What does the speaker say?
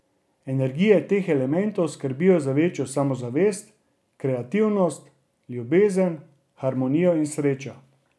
Energije teh elementov skrbijo za večjo samozavest, kreativnost, ljubezen, harmonijo in srečo.